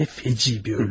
Nə dəhşətli bir ölüm.